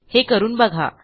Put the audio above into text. हे करून बघा